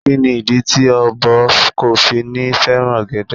Kí ni ìdí tí ọ̀bọ kò fi ní fẹ́ràn ọ̀gẹ̀dẹ̀?